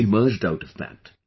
You emerged out of that